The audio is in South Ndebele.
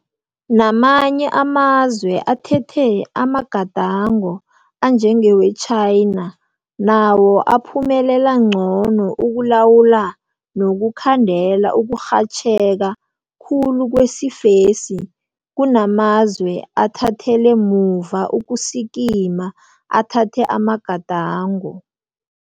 Namanye amazwe athethe amagadango anjengewe-China nawo aphumelela ngcono ukulawula nokukhandela ukurhatjheka khulu kwesifesi kunamazwe athathele muva ukusikima athathe amagadango.